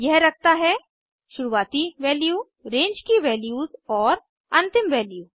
यह रखता है शुरुवाती वैल्यू रेंज की वैल्यूज़ और अंतिम वैल्यू